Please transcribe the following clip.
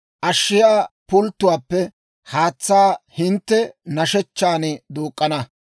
Ashshiyaa pulttotuwaappe haatsaa hintte nashshechchan duuk'k'ana.